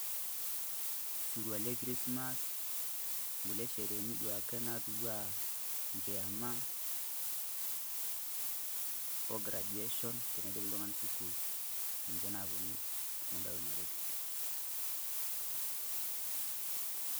Osirua le Krismass, inkulie shereheni duake naatiu enaa enkiama, o graduation teniidip oltung'ani sukuul, ninche naaponu tenadol ena toki.